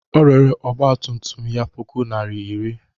O rere ọgba tum tum ya puku naịra iri.